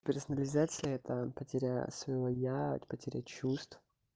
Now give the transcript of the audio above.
персонализация это потеря своего я потеря чувств